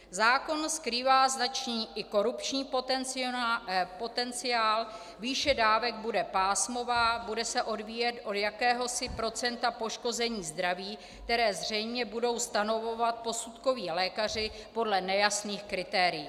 Zákon skrývá značný i korupční potenciál, výše dávek bude pásmová, bude se odvíjet od jakéhosi procenta poškození zdraví, které zřejmě budou stanovovat posudkoví lékaři podle nejasných kritérií.